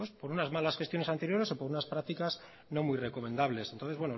por unas malas gestiones anteriores o por unas prácticas no muy recomendables entonces